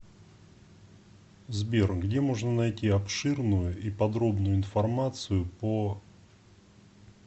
сбер где можно найти обширную и подробную информацию по